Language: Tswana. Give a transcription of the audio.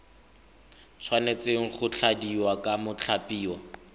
tshwanetse go tladiwa ke mothapiwa